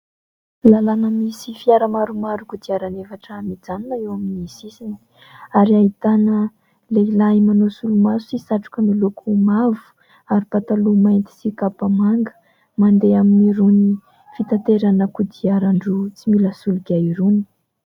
lalana misy fiara maromaro kodiaran'efatra mijanona eo amin'ny sisiny ary ahitana lehilahy manao solomaso sy satroka miloko mavo ary pataloha mainty sy kapa manga mandeha amin'irony fitanterana kodiaran-droa tsy mila soloky irony.